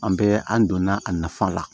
An bɛ an donna a nafan la